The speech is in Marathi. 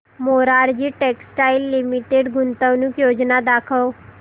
मोरारजी टेक्स्टाइल्स लिमिटेड गुंतवणूक योजना दाखव